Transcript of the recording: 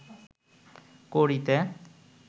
করিতে